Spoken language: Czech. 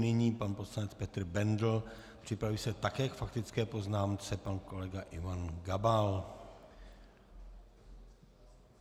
Nyní pan poslanec Petr Bendl, připraví se také k faktické poznámce pan kolega Ivan Gabal.